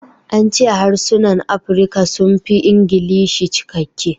An ce harsunan Afirka sun fi Ingilishi cikakke